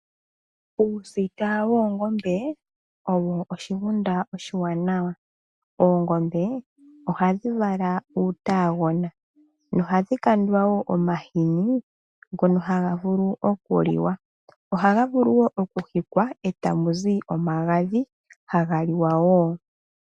Uusita woongombe owo oshigunda oshiwanawa. Oongombe ohadhi vala uutaagona. Ohadhi kandwa wo omahini ngono haga vulu okuliwa, ohaga vulu woo okuhikwa e tamu zi omagadhi haga liwa woo.